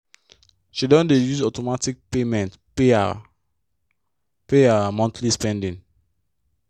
she don dey use automatic payment pay her pay her monthly spending.